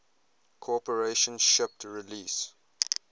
corporation shipped release